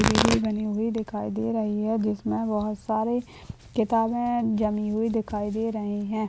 Library बनी हुई दिखाई दे रही है जिसमे बहुत सारे किताबे जमी हुई दिखाई दे रही है।